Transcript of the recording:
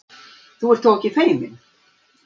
Þú ert þó ekki feiminn?